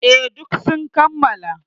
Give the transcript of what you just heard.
E, duk sun kammala.